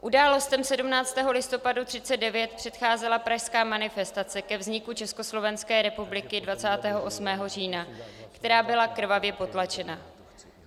Událostem 17. listopadu 1939 předcházela pražská manifestace ke vzniku Československé republiky 28. října, která byla krvavě potlačena.